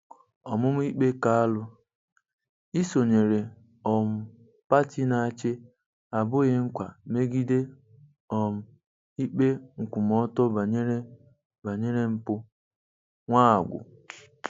Ọmụma ikpe Kalụ: Isonyere um pati na-achị abụghị nkwa megide um ikpe nkwụmọtọ banyere banyere mpụ--- Nwagwụ.